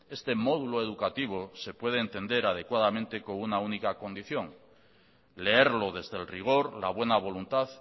este módulo educativo se puede entender adecuadamente con una única condición leerlo desde el rigor la buena voluntad